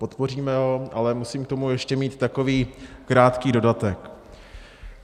Podpoříme ho, ale musím k tomu ještě mít takový krátký dodatek.